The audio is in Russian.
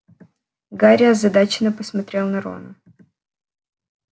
гарри озадаченно посмотрел на рона